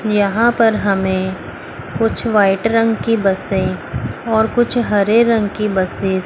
यहां पर हमें कुछ व्हाइट रंग की बसे और कुछ हरे रंग की बसेज --